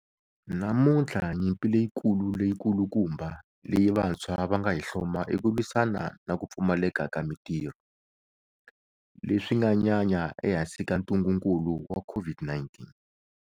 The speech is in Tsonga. Namuntlha nyimpi leyikulu leyikulukumba leyi vantshwa va nga hi hloma i ku lwisana na ku pfumaleka ka mitirho, leswi nga nyanya ehansi ka ntungukulu wa COVID-19.